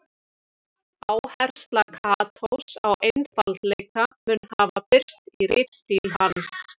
Áhersla Katós á einfaldleika mun hafa birst í ritstíl hans.